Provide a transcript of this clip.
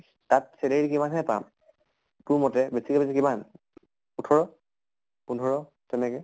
তাত salary কিমান খিনি পাম? তোৰ মতে বেছিকে বেছি কিমান? ওঠৰ পোন্ধৰ তেনেকে